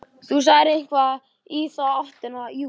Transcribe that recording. Þú sagðir eitthvað í þá áttina, jú.